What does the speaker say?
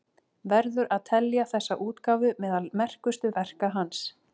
Verður að telja þessa útgáfu meðal merkustu verka hans.